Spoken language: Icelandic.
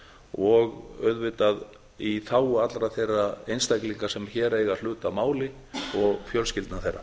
og auðvitað í þágu allra þeirra einstaklinga sem hér eiga hlut að máli og fjölskyldna þeirra